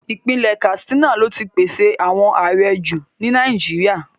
Ipinle Katsina lo ti pese awọn aarẹ ju ni Nàìjíríà